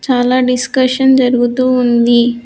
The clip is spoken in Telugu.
చాలా డిస్కషన్ జరుగుతూ ఉంది.